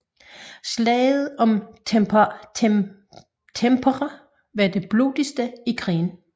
Slaget om Tampere var det blodigste i krigen